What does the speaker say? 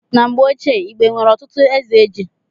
Na mgbe ochie, Igbo nwere ọtụtụ eze ji